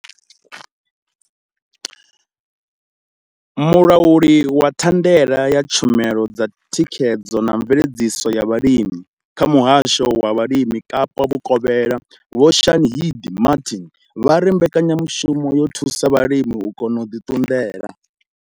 Mulauli wa thandela ya tshumelo dza thikhedzo na mveledziso ya vhulimi kha muhasho wa vhulimi Kapa vhukovhela Vho Shaheed Martin vha ri mbekanyamushumo yo thusa vhalimi u kona u ḓi ṱunḓela.